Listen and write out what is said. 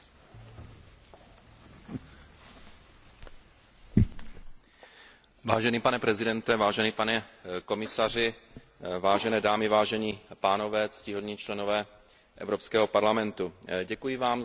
Vážený pane předsedo, vážený pane komisaři, vážené dámy, vážení pánové, ctihodní poslanci Evropského parlamentu, děkuji vám za pozvání na toto setkání na půdě Evropského parlamentu při příležitosti